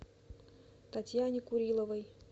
татьяне куриловой